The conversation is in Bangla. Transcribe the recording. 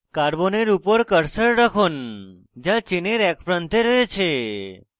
carbon উপর cursor রাখুন যা চেনের এক প্রান্তে রয়েছে